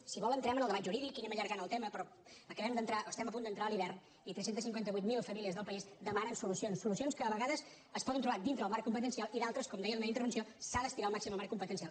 si vol entrem en el debat jurídic i anem allargant el tema però estem a punt d’entrar a l’hivern i tres cents i cinquanta vuit mil famílies del país demanen solucions solucions que a vegades es poden trobar dintre el marc competencial i en d’altres com deia en la meva intervenció s’ha d’estirar al màxim el marc competencial